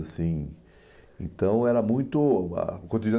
Assim Então, era muito a o cotidiano